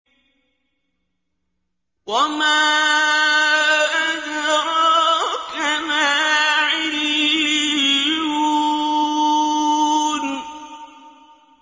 وَمَا أَدْرَاكَ مَا عِلِّيُّونَ